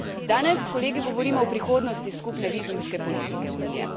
Danes, kolegi, govorimo o prihodnost skupne vizumske politike Unije.